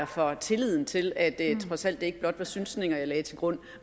for tilliden til at det trods alt ikke blot var synsninger jeg lagde til grund